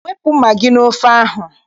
Wepụ magị n'ofe ahụ!